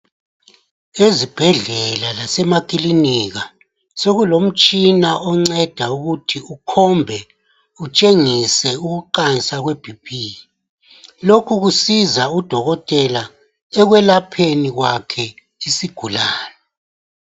Ezibhedlela lasemakilinika, sokulomtshina onceda ukuthi ukhombe utshengise ukuqansa kwe BP. Lokhu kusiza udokotela ekwelapheni kwakhe isigulane.